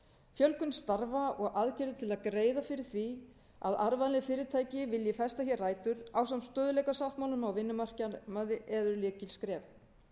fjölgun starfa og aðgerðir til að greiða fyrir því að arðvænleg fyrirtæki vilji festa hér rætur ásamt stöðugleikasáttmálanum á vinnumarkaði eru lykilskref